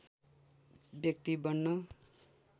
व्यक्ति बन्न